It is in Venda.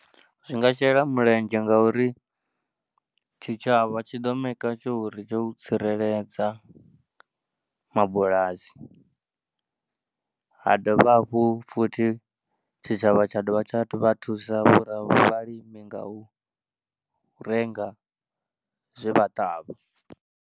Zwi nga shela mulenzhe ngauri tshitshavha tshi ḓo maker sure uri tsho tsireledza mabulasi ha dovha hafhu futhi tshitshavha tsha dovha tsha vha thusa vhalimi nga u renga zwe vha ṱavha.